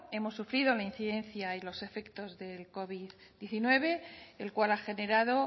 hemos sufrido la incidencia y los efectos del covid diecinueve el cual ha generado